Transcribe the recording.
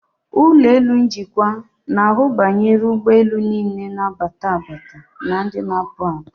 Ụlọelu njikwa na-ahụ banyere ụgbọelu niile na-abata abata na ndị na-apụ apụ.